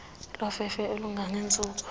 lofefe elinga ngentsuku